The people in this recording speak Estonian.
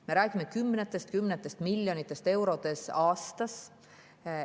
Me räägime kümnetest ja kümnetest miljonitest eurodest aastas.